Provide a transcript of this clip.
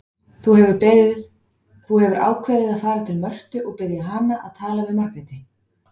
Þú hefur ákveðið að fara til Mörtu og biðja hana að tala við Margréti.